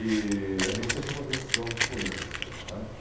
E a gente ia só para ver os Jogos do Corinthians, não é.